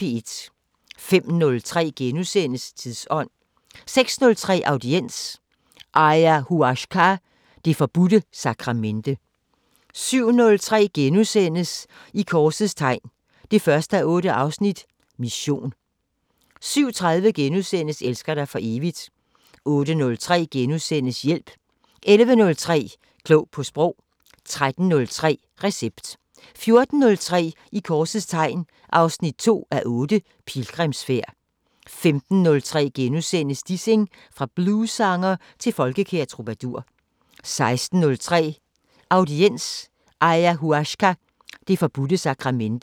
05:03: Tidsånd * 06:03: Audiens: Ayahuasca- det forbudte sakramente 07:03: I korsets tegn 1:8 – Mission * 07:30: Elsker dig for evigt * 08:03: Hjælp * 11:03: Klog på Sprog 13:03: Recept 14:03: I korsets tegn 2:8 – Pilgrimsfærd 15:03: Dissing – fra bluessanger til folkekær troubadour * 16:03: Audiens: Ayahuasca- det forbudte sakramente